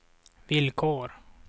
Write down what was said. villkor